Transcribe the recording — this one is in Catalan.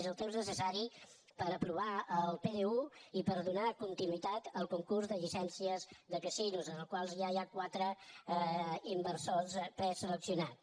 és el temps necessari per aprovar el pdu i per donar continuïtat al concurs de llicències de casinos en el qual ja hi ha quatre inversors pre·seleccionats